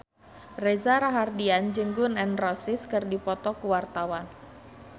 Reza Rahardian jeung Gun N Roses keur dipoto ku wartawan